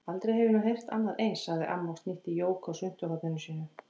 Aldrei hef ég nú heyrt annað eins, sagði amma og snýtti Jóku á svuntuhorninu sínu.